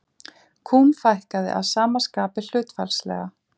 Kúm fækkaði að sama skapi hlutfallslega.